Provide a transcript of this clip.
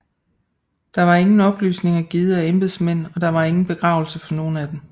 Der var ingen oplysninger givet af embedsmænd og der var ingen begravelse for nogen af dem